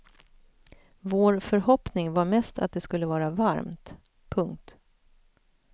Vår förhoppning var mest att det skulle vara varmt. punkt